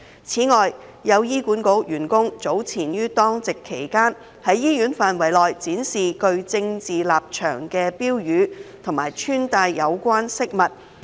此外，有醫管局員工早前於當值期間，在醫院範圍內展示具政治立場的標語及穿戴有關飾物。